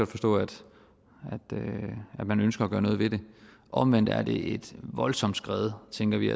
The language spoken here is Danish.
forstå at man ønsker at gøre noget ved det omvendt er det et voldsomt skred tænker vi